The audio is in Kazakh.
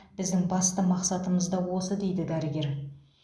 біздің басты мақсатымыз да осы дейді дәрігер